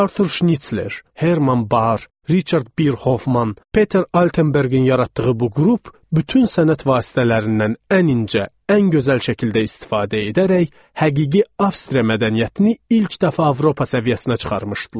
Artur Şnitsler, Herman Bar, Riçard Birxofman, Peter Altenbergin yaratdığı bu qrup bütün sənət vasitələrindən ən incə, ən gözəl şəkildə istifadə edərək həqiqi Avstriya mədəniyyətini ilk dəfə Avropa səviyyəsinə çıxarmışdılar.